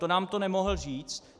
To nám to nemohl říct?